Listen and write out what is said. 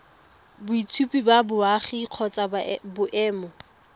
boitshupo ba boagi kgotsa boemo